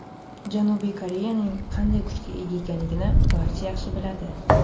Janubiy Koreyaning qanday kuchga ega ekanini barcha yaxshi biladi.